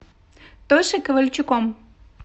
тошей ковальчуком